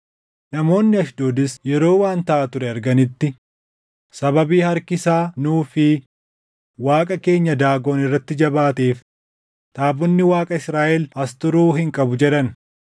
Namoonni Ashdoodis yeroo waan taʼaa ture arganitti, “Sababii harki isaa nuu fi Waaqa keenya Daagon irratti jabaateef taabonni Waaqa Israaʼel as turuu hin qabu” jedhan.